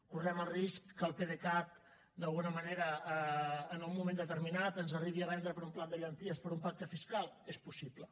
correm el risc que el pdecat d’alguna manera en un moment determinat ens arribi a vendre per un plat de llenties per un pacte fiscal és possible